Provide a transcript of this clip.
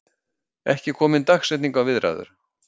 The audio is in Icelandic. Ekki komin dagsetning á viðræður